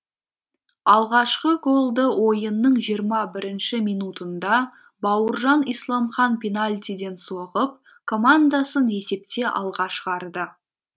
алғашқы голды ойынның жиырма бірінші минутында бауыржан исламхан пенальтиден соғып командасын есепте алға шығарды